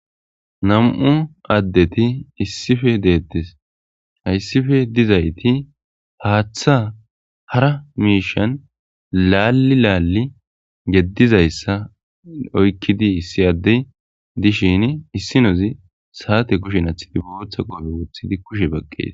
nam7u addeti issife deettes hayssife dizayti haaththa hara miishan laalli laalli geddizayssa oykkidi issi addey dishin issinozi saate kushen athidi booththa qoobe woothidi kushe baqqees